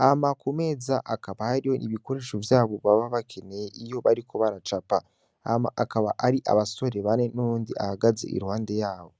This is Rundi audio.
hama ku meza hakaba hariyo ibikoresho vyabo baba bakeneye iyo bariko baracapa hama hakaba hari abasore bane n'uyundi ahagaze iruhande yabo.